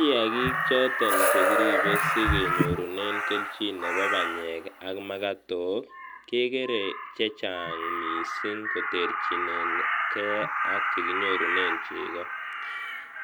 Kiaki choton chekiripe sikenyorunen kelchin nepo panyek ak makotok kekerer chechang mising koterchinenge ak chekinyorunen cheko,